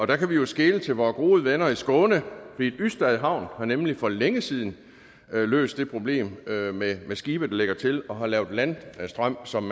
der kan vi jo skele til vore gode venner i skåne hvor ystad havn nemlig for længe siden har løst det problem med med skibe der lægger til og har lavet landstrøm som